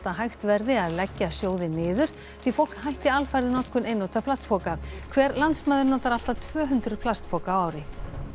að hægt verði að leggja sjóðinn niður því fólk hætti alfarið notkun einnota plastpoka hver landsmaður notar allt að tvö hundruð plastpoka á ári